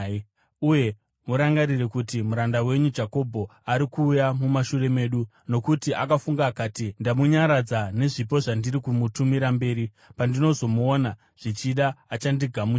Uye murangarire kuti, ‘Muranda wenyu Jakobho ari kuuya mumashure medu.’ ” Nokuti akafunga akati, “Ndamunyaradza nezvipo zvandiri kumutumira mberi; pandinozomuona, zvichida achandigamuchira.”